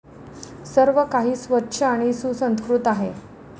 सर्व काही स्वच्छ आणि सुसंस्कृत आहे.